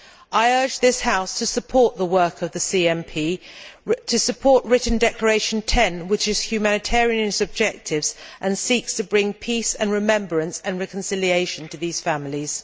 I urge this House to support the work of the CMP, and to support Written Declaration 10 which is humanitarian in its objectives and seeks to bring peace and remembrance and reconciliation to these families.